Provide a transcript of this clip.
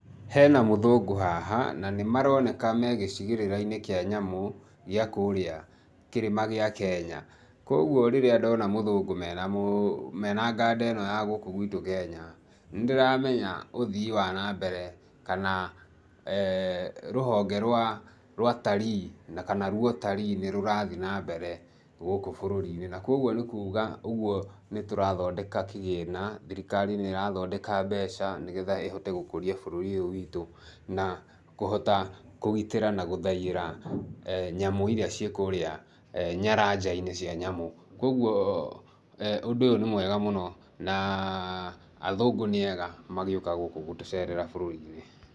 Hena mũthũngũ haha nanĩmaroneka megĩcigĩrĩrainĩ kĩa nyamũ, gĩa kũũrĩa kĩrĩma gĩa Kenya, kwoguo rĩrĩa ndona mũthũngũ mena mũ mena ganda ĩno ya gũkũ gwitũ Kenya nĩndĩramenya uthii wanambere kana[eeh]rũhonge rwa atarii na kana rwũtarii nĩũrathii na mbere gũkũ bũrũrinĩ, na kwoguo nĩ kuuga ũguo nĩtũrathondeka kĩgĩna, thirikari nĩrathondeka mbeca nĩgetha ĩhote gũkũria bũrũri ũyũ witũ na, kũhota kũgitĩra na gũthaiyĩra [eeh]nyamũ iria cikũrĩa nyaranjainĩ cia nyamũ, kwoguo [eeh]ũndũ ũyũ nĩ mwega mũno, na athũngũ, nĩ ega magĩũka gũkũ gũtũcerera bũrũrinĩ.